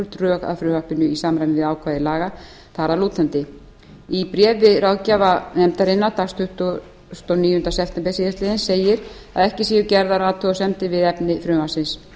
drög að frumvarpinu í samræmi við ákvæði laga þar að lútandi í bréfi ráðgjafarnefndarinnar dagsett tuttugasta og níunda sept síðastliðinn segir að ekki sé gerðar athugasemdir við efni frumvarpsins